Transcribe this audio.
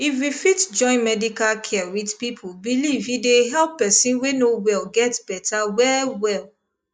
if we fit join medical care with people belief e dey help person wey no well get better wellwell